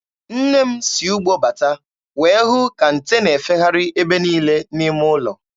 Nne m si ugbo bata wee hụ ka nte na-efegharị ebe niile n'ime ụlọ.